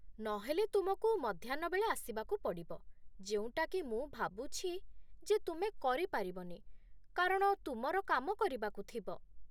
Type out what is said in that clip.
ନହେଲେ, ତୁମକୁ ମଧ୍ୟାହ୍ନ ବେଳେ ଆସିବାକୁ ପଡ଼ିବ, ଯେଉଁଟାକି ମୁଁ ଭାବୁଛି ଯେ ତୁମେ କରିପାରିବନି କାରଣ ତୁମର କାମ କରିବାକୁ ଥିବ ।